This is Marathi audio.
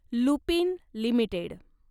ल्युपिन लिमिटेड